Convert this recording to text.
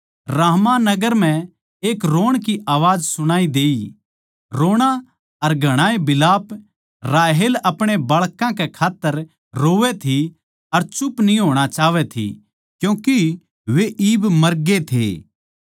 रामाह नगर म्ह एक रोण की आवाज सुणाई देई रोणा अर घणाए बिलाप राहेल अपणे बाळकां कै खात्तर रोवै थी अर चुप न्ही होणा चाहवै थी क्यूँके वे इब मरगे थे